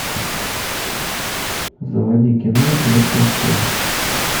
заводи кино лев толстой